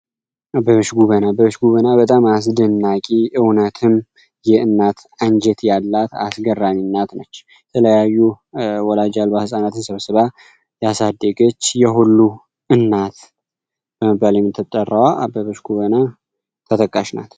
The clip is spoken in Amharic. አበበ ጎበና በጣም አስደናቂ እውነትም የእናት አንጀት ያላት አስገራሚ ናት የተለያዩ ወላጅ አልባ ፃናት ያሳደገች የሁሉ እናት አበበች ጎበና ተጠቃሽ ናት።